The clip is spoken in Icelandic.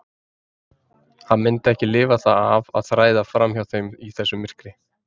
Hann myndi ekki lifa það af að þræða fram hjá þeim í þessu myrkri.